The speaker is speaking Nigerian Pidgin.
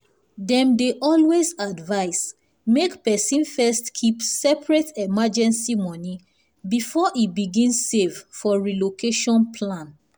dem dey always advise make person first keep separate emergency money before e begin save for relocation plan.